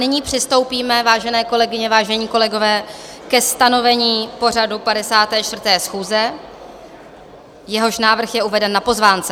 Nyní přistoupíme, vážené kolegyně, vážení kolegové, ke stanovení pořadu 54. schůze, jehož návrh je uveden na pozvánce.